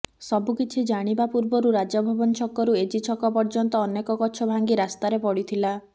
ସବୁକିଛି ଜାଣିବା ପୂର୍ବରୁ ରାଜଭବନ ଛକରୁ ଏଜି ଛକ ପର୍ଯ୍ୟନ୍ତ ଅନେକ ଗଛ ଭାଙ୍ଗି ରାସ୍ତାରେ ପଡ଼ିଥିଲା